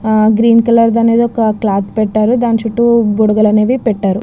ఆ green colour అనే ఒక క్లోత్ పెట్టారు దాని చుట్టూ బుడగలు పెట్టారు .